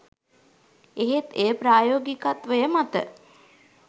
එහෙත් එය ප්‍රායෝගිකත්වය මත